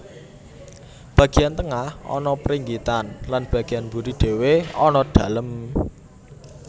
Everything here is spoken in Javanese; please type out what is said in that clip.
Bagian tengah ana pringgitan lan bagian mburi dhéwé ana dalem